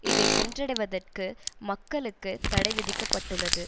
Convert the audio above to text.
இதை சென்றடவைதற்கு மக்களுக்கு தடைவிதிக்க பட்டுள்ளது